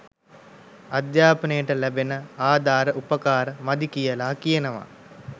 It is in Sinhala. අධ්‍යාපනයට ලැබෙන ආධාර උපකාර මදි කියලා කියනවා